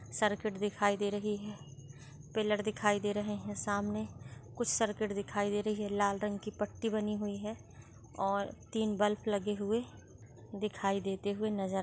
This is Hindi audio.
सर्किट दिखाई दे रही है पिल्लर दिखाई दे रहे है सामने कुछ सर्किट दिखाई दे रही है लाल रंग पट्टी बनी हुए है और तीन बल्ब लगे हुए दिखाई देते हुए नज़र--